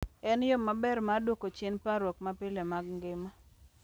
En yo maber mar duoko chien parruok mapile mag ngima.